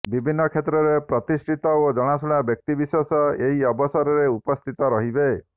ବିଭିନ୍ନ କ୍ଷେତ୍ରରେ ପ୍ରତିଷ୍ଠିତ ଓ ଜଣାଶୁଣା ବ୍ୟକ୍ତିବିଶେଷ ଏହି ଅବସରରେ ଉପସ୍ଥିତ ରହିବେ